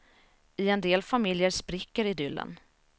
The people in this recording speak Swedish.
I en del familjer spricker idyllen.